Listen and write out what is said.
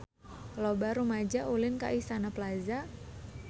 Loba rumaja ulin ka Istana Plaza